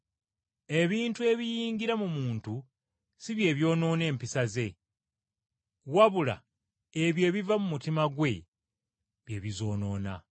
Ebintu ebiyingira mu muntu si bye byonoona empisa ze, wabula ebyo ebiva mu mutima gwe bye bizoonoona.